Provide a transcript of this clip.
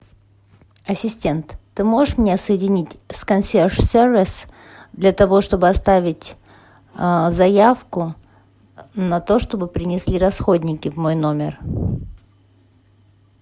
ассистент ты можешь меня соединить с консьерж сервис для того чтобы оставить заявку на то чтобы принесли расходники в мой номер